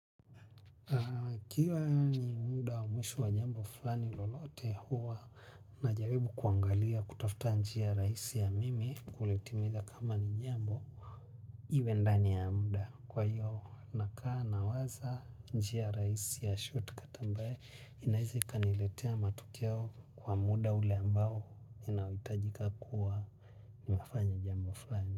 Ukiwa ni muda mwisho wa jambo fulani lolote huwa na jaribu kuangalia kutafuta njia rahisi ya mimi kulitimiza kama ni jambo. Iwe ndani ya muda kwa hiyo nakaa nawaza njia rahisi ya shortcut ambaye inaweza ikaniletea matokeo kwa muda ule ambao unaohitajika kuwa nimafanya jambo fulani.